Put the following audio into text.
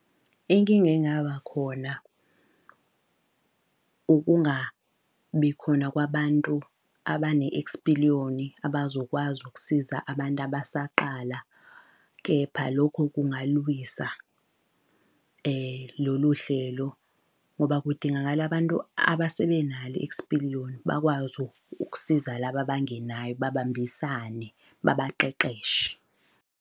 Inkinga engaba khona ukungabi khona kwabantu abane-ekspiliyoni abazokwazi ukusiza abantu abasaqala, kepha lokho kungaluwisa lolu hlelo. Ngoba kudingakala bantu abasebenalo i-ekspiliyoni bakwazi ukusiza laba abangenayo babambisane babaqeqeshe.